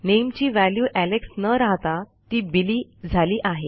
नामे ची value Alex न राहता ती बिली झाली आहे